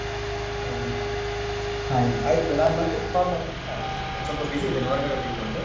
ಹೌದು . ಆಯಿತು ನಾನು ಮತ್ತೇ call ಮಾಡ್ತೇನೆ ನಾನ್ ಸ್ವಲ್ಪ busy ಇದ್ದೇನೆ ಹೊರಗಡೆ ಹೋಗ್ಲಿಕ್ಕುಂಟು.